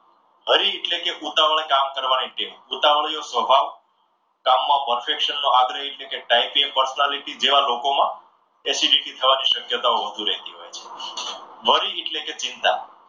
hurry એટલે કે ઉતાવળિ કામ કરવાની ટેવ ઉતાવળિયો સ્વભાવ કામમાં perfect છે. આગ્રહી છે કે ટાઈપીય પર્સેરીટી જેવા લોકોમાં acidity થવાની શક્યતાઓ વધુ રહેતી હોય છે. worry એટલે કે ચિંતા